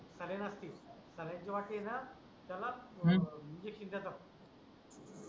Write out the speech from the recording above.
सर्नस्टीक saline जेव्हा केल त्याला इंजेक्शन देतात